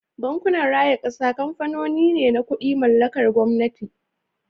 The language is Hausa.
Bankunan raya kasa kamfanoni ne na kudi mallakar gwamnati.